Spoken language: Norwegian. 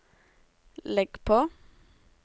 legg på